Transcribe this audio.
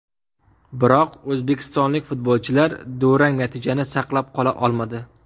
Biroq o‘zbekistonlik futbolchilar durang natijani saqlab qola olmadi.